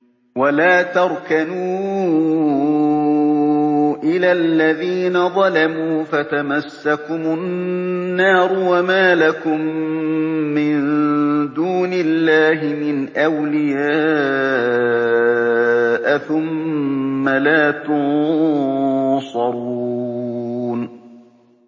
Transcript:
وَلَا تَرْكَنُوا إِلَى الَّذِينَ ظَلَمُوا فَتَمَسَّكُمُ النَّارُ وَمَا لَكُم مِّن دُونِ اللَّهِ مِنْ أَوْلِيَاءَ ثُمَّ لَا تُنصَرُونَ